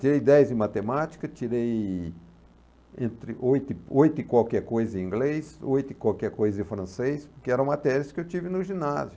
Tirei dez em matemática, tirei entre oito oito em qualquer coisa em inglês, oito em qualquer coisa em francês, porque era matérias que eu tive no ginásio.